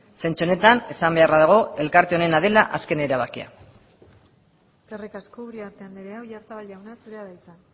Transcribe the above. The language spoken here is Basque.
zentzu honetan esan beharra dago elkarte honena dela azken erabakia eskerrik asko uriarte andrea oyarzabal jauna zurea da hitza